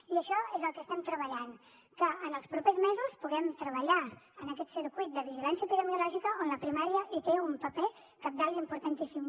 i això és el que estem treballant que en els propers mesos puguem treballar en aquest circuit de vigilància epidemiològica on la primària hi té un paper cabdal i importantíssim